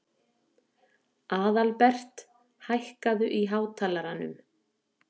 Aðalbert, hækkaðu í hátalaranum.